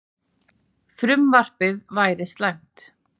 Frumvarpið væri slæmt